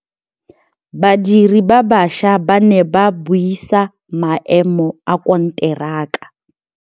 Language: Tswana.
Badiri ba baša ba ne ba buisa maêmô a konteraka.